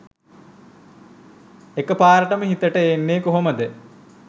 එක පාරටම හිතට එන්නෙ කොහොමද?